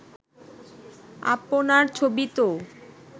আপনার ছবি তো